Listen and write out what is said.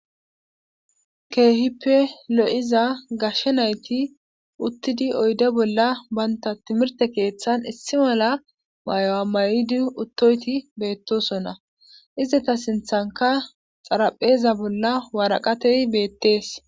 keehippe lo7iza gashshe nayti uttidi oyde bolla banta timirte keeththan issi mala mayo amayidi uttoyti beettosonna izeta sinthanka xarapheeza bolla waraqatei beettees